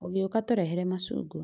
ũgĩũka tũrehere macungwa